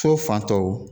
So fan tɔw